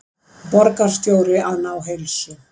Borgarstjóri að ná heilsu